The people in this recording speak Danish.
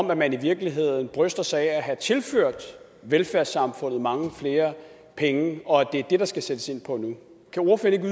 hvor man i virkeligheden bryster sig af at have tilført velfærdssamfundet mange flere penge og at det er det der skal sættes ind på nu kan ordføreren